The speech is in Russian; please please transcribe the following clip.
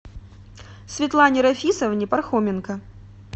светлане рафисовне пархоменко